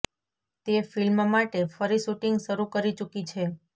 તે ફિલ્મ માટે ફરી શુટિંગ શરૂ કરી ચુકી છે